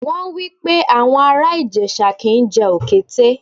Wọ́n wípé àwọn ará Ìjẹ̀ṣà kì ń jẹ Òkété.